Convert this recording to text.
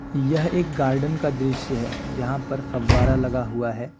यह एक गार्डन का दृश्य है जहां पर फव्वारा लगा हुआ है।